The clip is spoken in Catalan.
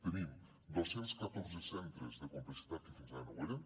tenim dos cents i catorze centres de complexitat que fins ara no ho eren